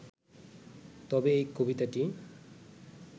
তবে এই কবিতাটি